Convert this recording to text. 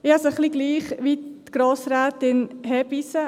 Es geht mir ähnlich wie Grossrätin Hebeisen.